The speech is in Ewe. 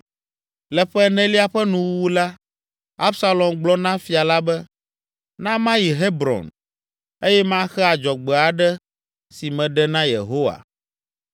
Le ƒe enelia ƒe nuwuwu la, Absalom gblɔ na Fia la be, “Na mayi Hebron eye maxe adzɔgbe aɖe si meɖe na Yehowa.